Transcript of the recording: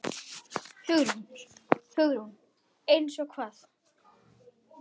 Hugrún: Eins og hvað?